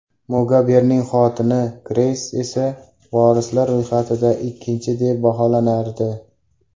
Mugabening xotini Greys esa vorislar ro‘yxatida ikkinchi, deb baholanardi.